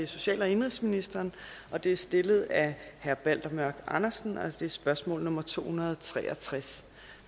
social og indenrigsministeren og det er stillet af herre balder mørk andersen og det er spørgsmål nummer tohundrede og treogtredsende